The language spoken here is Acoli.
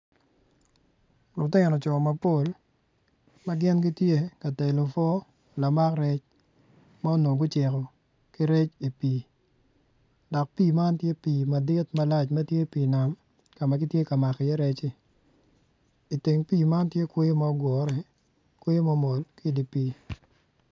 Lutino co mapol ma gin gitye ka telo obwo lamak rec ma onongo guciko ki rec i pii dok pii man tye pii madit malac ma tye pii nam ka ma gitye ka mako iye recci iteng pii man tye kweyo ma ogure kweyo ma omol ki idi pii.